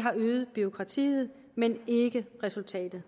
har øget bureaukratiet men ikke resultatet